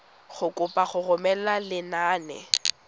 go kopa go romela lenane